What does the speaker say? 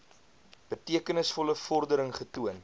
betekenisvolle vordering getoon